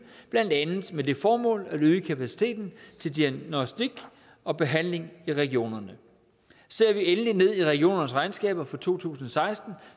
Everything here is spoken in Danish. blandt andet med det formål at øge kapaciteten til diagnostik og behandling i regionerne ser vi endelig ned i regionernes regnskaber for to tusind og seksten